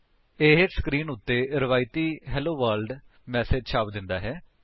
ਇਹ ਸਕਰੀਨ ਉੱਤੇ ਰਵਾਇਤੀ ਹੇਲੋ ਵਰਲਡ ਮੈਸੇਜ ਛਾਪ ਦਿੰਦਾ ਹੈ